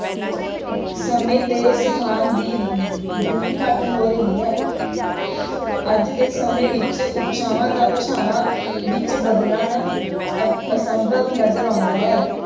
ਸਮੇਂ ਤੇ ਸਥਾਨ ਦੀ ਦੂਰੀ ਘੱਟ ਹੋ ਰਹੀ ਹੈ ਅੱਜ ਦੇ ਸਮੇਂ ਵਿੱਚ ਉਪਭਾਸ਼ਾਵਾਂ ਦਾ ਭਾਸ਼ਾਵਾਂ ਵਿੱਚ ਬਦਲਣ ਅ~ ਅਸੰਭਵ ਨਜ਼ਰ ਆਉਂਦਾ ਹੈ।